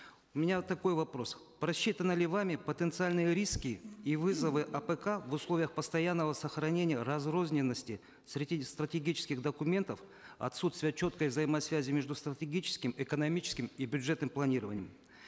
у меня такой вопрос просчитаны ли вами потенциальные риски и вызовы апк в условиях постоянного сохранения разрозненности стратегических документов отсутствия четкой взаимосвязи между стратегическим экономическим и бюджетным планированием